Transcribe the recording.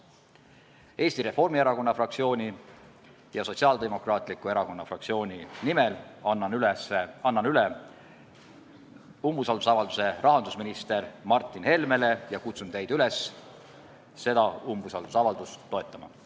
Annan Eesti Reformierakonna fraktsiooni ja Sotsiaaldemokraatliku Erakonna fraktsiooni nimel üle umbusaldusavalduse rahandusminister Martin Helmele ja kutsun teid üles seda umbusaldusavaldust toetama.